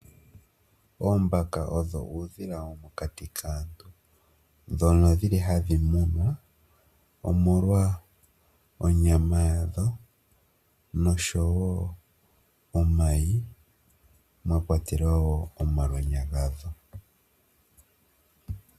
Oombaka odho uudhila womokati kaantu, dhono dhili hadhi munwa omolwa onyama yadho noshowo omayi mwa kwatelwa woo omalwenya gadho.